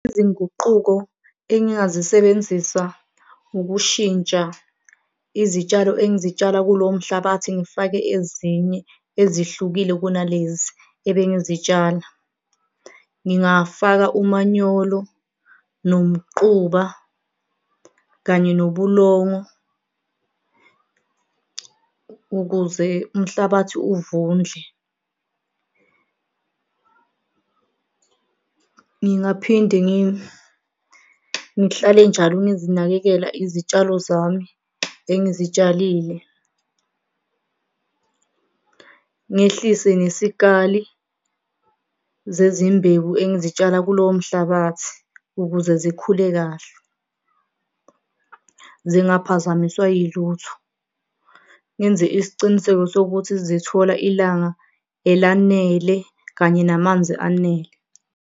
Izinguquko engingazisebenzisa ukushintsha izitshalo engizitshala kulowo mhlabathi ngifake ezinye ezihlukile kunalezi ebengizitshala. Ngingafaka umanyolo nomquba kanye nobulongo ukuze umhlabathi uvundle. Ngingaphinde ngihlale njalo ngizinakekela izitshalo zami engizitshalile. Ngehlise nesikali zezimbewu engizitshala kulowo mhlabathi ukuze zikhule kahle zingaphazamiswa yilutho, ngenze isiciniseko sokuthi zithola ilanga elanele kanye namanzi anele.